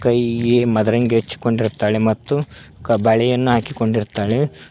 ಕೈಯಿಗೆ ಮದರಂಗಿ ಹಚ್ಚಿಕೊಂಡಿರ್ತಾಳೆ ಮತ್ತು ಕ ಬಳೆಯನ್ನು ಹಾಕಿಕೊಂಡು ಇರ್ತಾಳೆ.